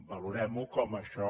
valorem ho com això